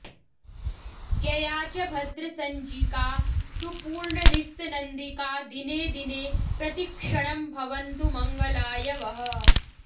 जया च भद्रसंज्ञिका तु पूर्णरिक्तनन्दिका दिने दिने प्रतिक्षणं भवन्तु मङ्गलाय वः